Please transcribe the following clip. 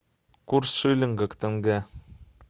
курс шиллинга к тенге